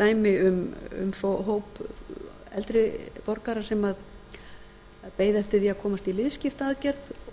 dæmi um hóp eldri borgara sem beið eftir því að komast í liðskiptaaðgerð og